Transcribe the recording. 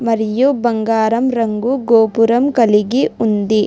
మరియు బంగారం రంగు గోపురం కలిగి ఉంది.